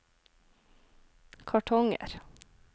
kartonger